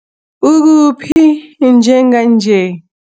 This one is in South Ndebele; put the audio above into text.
Ukuphi njenganje?